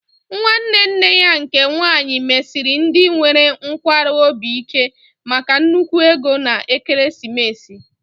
Nwanne nne ya nke nwaanyị mesiri ndị nwere nkwarụ obi ike maka nnukwu ego na ekeresimesi